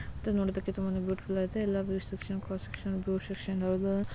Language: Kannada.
ಇದು ನೋಡೋದಕ್ಕೆ ತುಂಬಾನೆ ಬ್ಯೂಟಿಫುಲ್ ಹಾಗೆ ಇದೆ ಎಲ್ಲಾ section god section cross section --